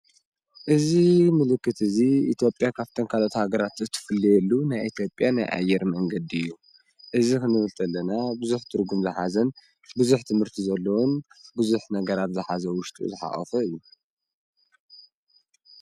እዚ ምልክት እዚ ኢትዮጵያ ካብተን ካልኦት ሃገራት እትፍለየሉ ናይ ኢትዮጵያ ኣየር መንገዲ እዩ፡፡ እዚ ክንብል ከለና ብዙሕ ትርጉም ዝሓዘን ብዙሕ ትምህርቲ ዘለዎን ብዙሕ ነገራት ዝሓዘ ኣብ ውሽጡ ዝሓቖፈ እዩ፡፡